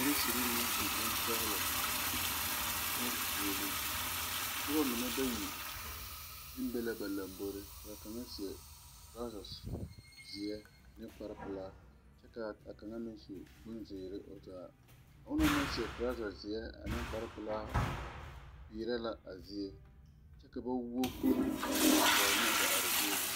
Policeri nang su bonsɔglo a tung foɔle nuba mene bayi nang su bong sɔglo kye seɛ truza zeɛ ne kpare pelaa kye ka kang meng su bonziire ɔ zaa ɔ na nang seɛ truza zeɛ ne kpare pɛlaa piɛrɛ la a zeɛ kye ka ba wou kuri a mgaa guori ne a zeɛ.